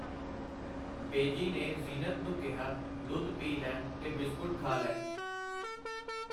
ਬੇਜੀ ਨੇ ਜ਼ੀਨਤ ਨੂੰ ਕਿਹਾ, ਦੁੱਧ ਪੀ ਲੈ ਤੇ ਬਿਸਕੁਟ ਖਾ ਲੈ.